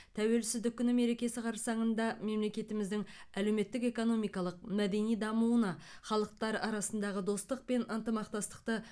тәуелсіздік күні мерекесі қарсаңында мемлекетіміздің әлеуметтік экономикалық мәдени дамуына халықтар арасындағы достық пен ынтымақтастықты